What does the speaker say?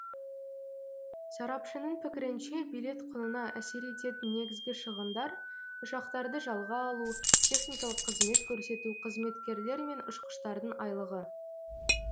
сарапшының пікірінше билет құнына әсер ететін негізгі шығындар ұшақтарды жалға алу техникалық қызмет көрсету қызметкерлер мен ұшқыштардың айлығы